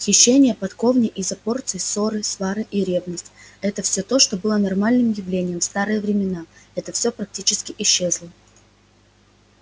хищения воркотня из-за порции ссоры свары и ревность то есть все что было нормальным явлением в старые времена все это практически исчезло